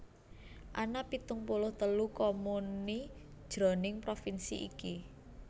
Ana pitung puluh telu comuni jroning provinsi iki